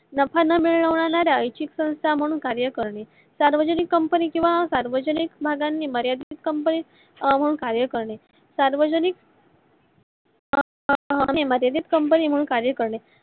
नफा ना मिळवणाऱ्या संस्था म्हणून कार्य करणे. सार्वजनिक company किवा सार्वजनिक भागणी मर्यादित company कार्य करणे. सार्वजनिक company कार्य करणे.